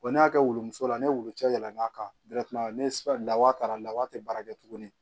Wa ne y'a kɛ woroso la ni wulucɛ yɛlɛn'a kan ne ka laada taara lawaa tɛ baara kɛ tuguni